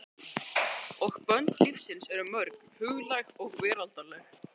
Og bönd lífsins eru mörg, huglæg og veraldleg.